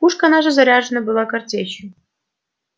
пушка наша заряжена была картечью